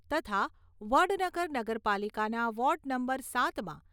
તથા વડનગર નગરપાલિકાના ward number સાતમાં